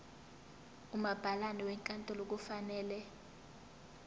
umabhalane wenkantolo kufanele